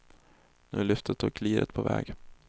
Nu är lyftet och liret på väg.